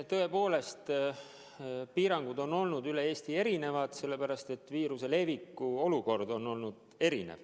Tõepoolest, piirangud on olnud üle Eesti erinevad, sellepärast et viiruse levik on olnud erinev.